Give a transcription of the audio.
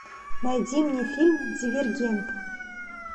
найди мне фильм дивергент